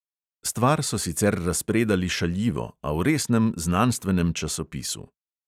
Stvar so sicer razpredali šaljivo, a v resnem znanstvenem časopisu.